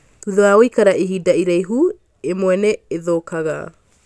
thutha wa gũikara ihinda iraihu imwe nĩ ithũkaga